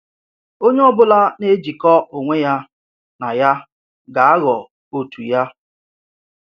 Onye ọ bụla na-ejikọ onwe ya na ya ga-aghọ otu ya.